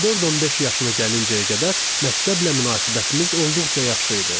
14-15 yaşına gəlincəyə qədər məktəblə münasibətimiz olduqca yaxşı idi.